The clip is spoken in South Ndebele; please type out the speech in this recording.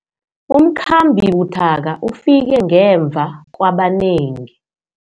Umkhambi buthaka ufike ngemva kwabanengi.